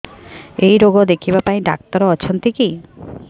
ଏଇ ରୋଗ ଦେଖିବା ପାଇଁ ଡ଼ାକ୍ତର ଅଛନ୍ତି କି